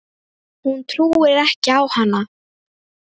Hún trúir ekki á hann.